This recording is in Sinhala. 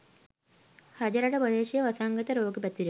රජරට ප්‍රදේශයේ වසංගත රෝග පැතිරෙන